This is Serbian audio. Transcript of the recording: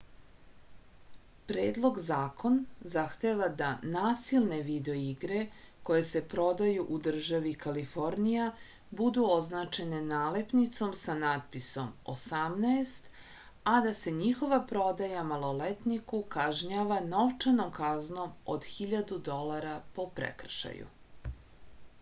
predlog zakon zahteva da nasilne video igre koje se prodaju u državi kalifornija budu označene nalepnicom sa natpisom 18 a da se njihova prodaja maloletniku kažnjava novčanom kaznom od 1000 dolara po prekršaju